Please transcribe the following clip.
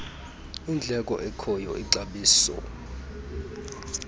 indleko ekhoyo ixabiso